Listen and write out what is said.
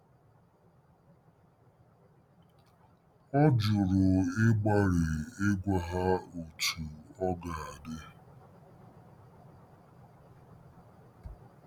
Ọ jụrụ ịgbalị ịgwa ha otú ọ ga-adị.